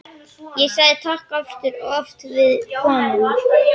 Ég sagði takk aftur og aftur við konuna.